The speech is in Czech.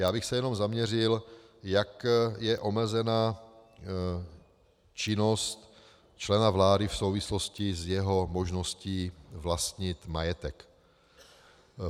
Já bych se jenom zaměřil, jak je omezena činnost člena vlády v souvislosti s jeho možností vlastnit majetek.